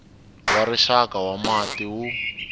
wa rixaka wa mati wu